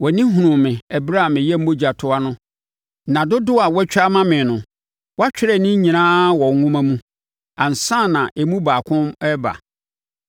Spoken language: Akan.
wʼani hunuu me ɛberɛ a meyɛ mogya toa no. Nna dodoɔ a woatwa ama me no, wɔatwerɛ ne nyinaa wɔ wo nwoma mu ansa na emu baako reba mu.